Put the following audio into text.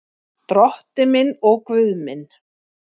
Drottinn minn og Guð minn.